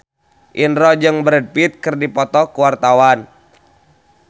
Indro jeung Brad Pitt keur dipoto ku wartawan